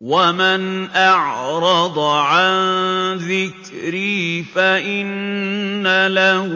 وَمَنْ أَعْرَضَ عَن ذِكْرِي فَإِنَّ لَهُ